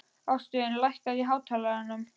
Ástvin, lækkaðu í hátalaranum.